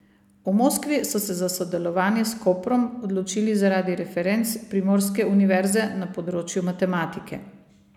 V Moskvi so se za sodelovanje s Koprom odločili zaradi referenc primorske univerze na področju matematike.